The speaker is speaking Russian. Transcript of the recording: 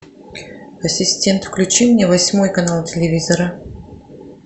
ассистент включи мне восьмой канал телевизора